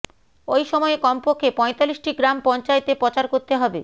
ওই সময়ে কমপক্ষে পয়তাল্লিশটি গ্রাম পঞ্চায়েতে প্রচার করতে হবে